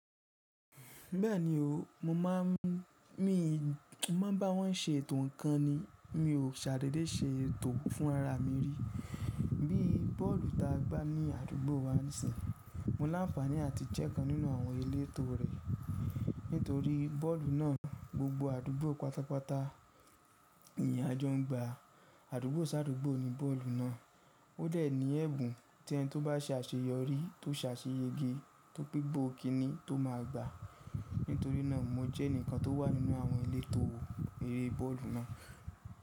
Bẹ́ẹ̀ni o, mo má a ń báwọn se ètò ńkan ni, mi ò ṣàdédé ṣe ètò fún ara mi ri. Bí bọ́ọ̀lù ta gba ní àdúgbò wa nísìń, mo láǹfààní àti jẹ́ kan nínú àwọn elétò rè. Nítorí bọ́ọ̀lù náà gbogbo àdúgbò pátápátá nì à jọ n gba. Àdúgbò sáàdúgbò ni bọ́ọ̀lù náà. Ó dẹ̀ ní ẹ̀bùn tí ẹni tó bá se àṣeyọrí tó ṣe àṣeyẹge tó gbé'pò kinní tó máa gba. Nítorí náà mo jẹ́ ẹnìkan tó wà nínú àwọn elétò eré bọ́ọ̀lù náà.